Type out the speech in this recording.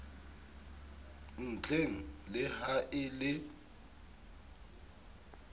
ntlheng le ha e le